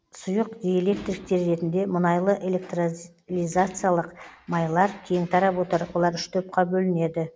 сұйық диэлектриктер ретінде мұнайлы электролизациялық майлар кең тарап отыр олар үш топқа бөлінеді